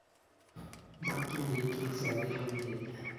Mokchin piik chik sopet ne mye